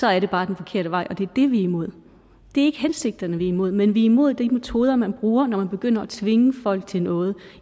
er det bare den forkerte vej det er det vi er imod det er ikke hensigterne vi er imod men vi er imod de metoder man bruger når man begynder at tvinge folk til noget